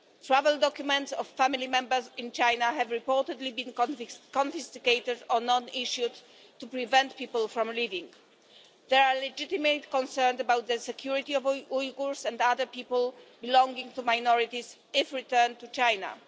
Travel documents of family members in China have reportedly been confiscated or not issued to prevent people from leaving. There are legitimate concerns about the security of Uyghurs and other people belonging to minorities if returned to China.